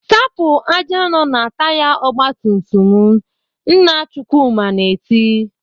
"Sapụ ájá nọ na taya ọgbatumtum m!" Nna Chukwuma na-eti.